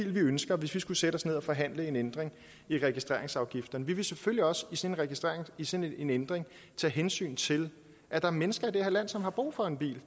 ville ønske hvis vi skulle sætte os ned og forhandle en ændring af registreringsafgifterne vi vil selvfølgelig også i sådan en ændring tage hensyn til at der er mennesker i det her land som har brug for en bil